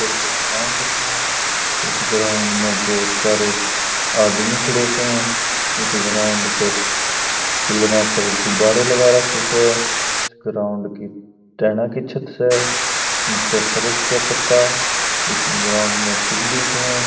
यह एक ग्राउंड स इस ग्राउंड बहुत सरे आदमी खड़े स इस ग्राउंड के पिलर पर गुब्बारे लगा राखे स ग्राउंड की टेना की छत स निचे फर्श स पक्का इस ग्राउंड में सीढ़ी स।